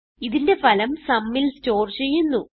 ഇതിന്റെ ഫലം sumൽ സ്റ്റോർ ചെയ്യുന്നു